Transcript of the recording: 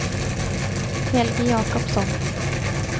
Helge Jacobsson